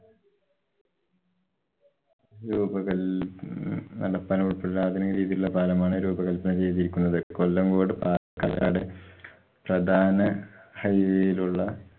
രൂപകല്‍ ഉം ഉള്‍പ്പെടെ ആധുനിക രീതിയിലുള്ള പാലമാണ് രൂപകല്‍പ്പന ചെയ്തിരിക്കുന്നത്. കൊല്ലങ്കോട് പാലക്കാട്‌ പ്രധാന high way ലുള്ള